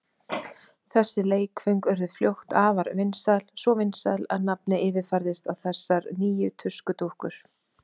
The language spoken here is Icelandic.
Þessi leikföng urðu fljótt afar vinsæl, svo vinsæl að nafnið yfirfærðist á þessar nýju tuskudúkkur.